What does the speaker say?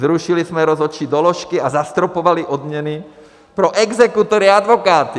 Zrušili jsme rozhodčí doložky a zastropovali odměny pro exekutory a advokáty!